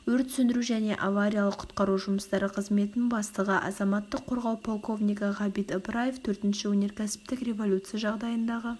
өрт сөндіру және авариялық-құтқару жұмыстары қызметінің бастығы азаматтық қорғау полковнигі ғабит ыбыраев төртінші өнеркәсіптік революция жағдайындағы